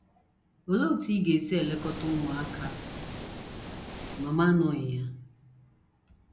Olee otú ị ga - esi elekọta ụmụaka ma m anọghị ya?